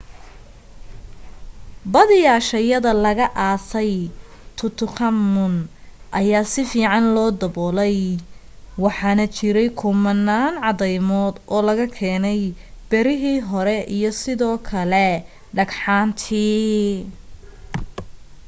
badiyaa shayyada lagu aasay tutankhamun ayaa si fiican loo dabolay waxaana ku jiray kumanaan cadaymod oo laga keenay birihii hore iyo sidoo kale dhagxaantii